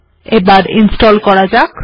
এবার ইনস্টল্ করা যাক